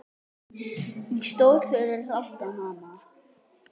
Ég stóð fyrir aftan hana.